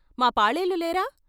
మా పాలేళ్ళు లేరా?